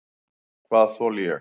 Hvað þoli ég?